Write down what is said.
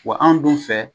Wa anw dun fɛ